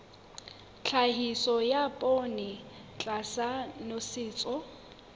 tlhahiso ya poone tlasa nosetso